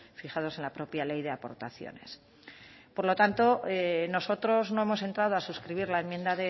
fijados en la propia ley de aportaciones por lo tanto nosotros no hemos entrado a suscribir la enmienda